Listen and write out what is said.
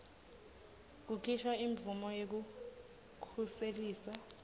kukhishwa imvumo yekukhuseliswa